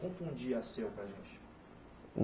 Conta um dia seu para a gente.